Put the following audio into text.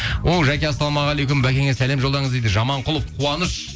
о жаке ассалаумағалейкум бәкеңе сәлем жолдаңыз дейді жаманқұлов қуаныш